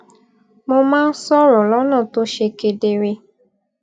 mo máa ń sòrò lónà tó ṣe kedere